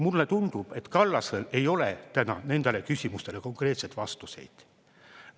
Mulle tundub, et Kallasel ei ole täna nendele küsimustele konkreetseid vastuseid.